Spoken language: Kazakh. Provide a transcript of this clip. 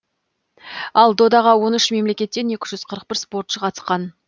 ал додаға он үш мемлекеттен екі жүз қырық бір спортшы қатысқан